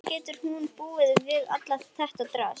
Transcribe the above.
Hvernig getur hún búið við allt þetta drasl?